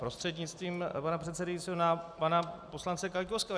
Prostřednictvím pana předsedajícího na pana poslance Kaňkovského.